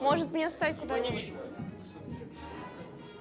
может мне оставить куда-нибудь